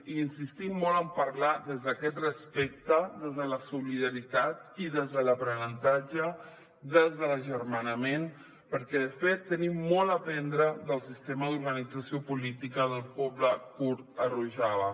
i insistim molt a parlar des d’aquest respecte des de la solidaritat i des de l’aprenentatge des de l’agermanament perquè de fet tenim molt a aprendre del sistema d’organització política del poble kurd a rojava